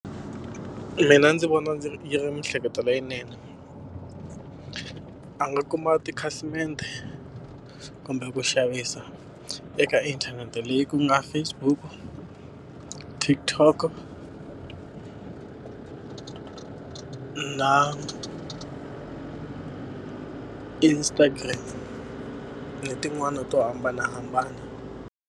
Mina ndzi vona ndzi yi ri miehleketo leyinene. A nga kuma tikhasimende kumbe ku xavisa eka inthanete leyi ku nga Facebook-u, TikTok-o na Instagram, na tin'wana to hambanahambana.